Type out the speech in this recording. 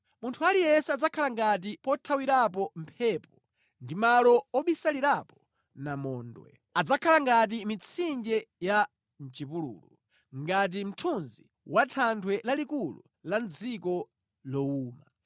Munthu aliyense adzakhala ngati pothawirapo mphepo ndi malo obisalirapo namondwe, adzakhala ngati mitsinje ya mʼchipululu, ngati mthunzi wa thanthwe lalikulu la mʼdziko lowuma.